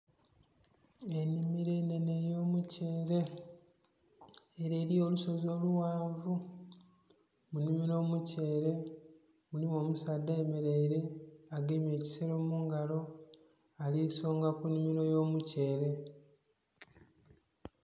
Enimiro enhenhe eyo mukyeere ere eriyo olusozi olughanvu mulimu n'omukyeere mulimu omusaadha ayemereire agemye ekisero mungalo ali sonka kunimiro ey'omukyeere.